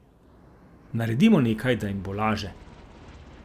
Naredimo nekaj, da jim bo laže.